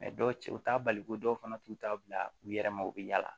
dɔw cɛ u t'a bali ko dɔw fana t'u ta bila u yɛrɛ ma u bɛ yala